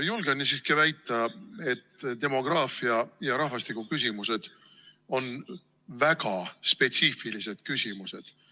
Julgen siiski väita, et demograafia- ja rahvastikuküsimused on väga spetsiifilised küsimused.